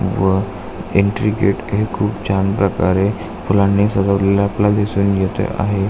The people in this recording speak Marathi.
व एन्ट्री गेट हे खूप छान प्रकारे फुलांनी सजवलेल आपल्याला दिसून येत आहे.